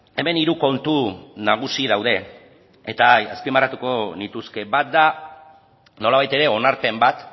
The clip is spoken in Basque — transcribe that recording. hemen hiru kontu nagusi daude eta azpimarratu nituzke bat da nolabait ere onarpen bat